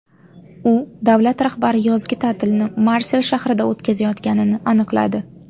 U davlat rahbari yozgi ta’tilni Marsel shahrida o‘tkazayotganini aniqladi.